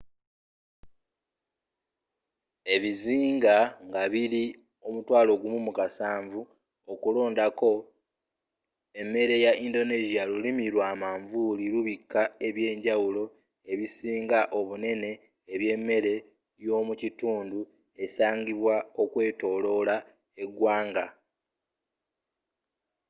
ebizinga nga biri ,17000 okulondako emmere ya indonesia lulimi lwa manvuli lubika eby'enjawulo ebisinga obunene ebyemmere yomukitundu esangibwa okwetolola egwanga